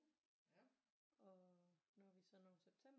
Og når vi så når september